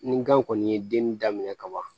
Ni gan kɔni ye denni daminɛ kaban